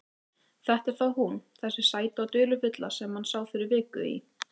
Þetta er þá hún, þessi sæta og dularfulla sem hann sá fyrir viku í